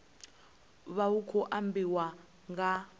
vha hu khou ambiwa nga